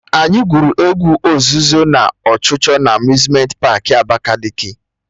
Anyị gwụrụ egwu ozuzo na ọchụchọ na Amuzmenti paakị Abakaliki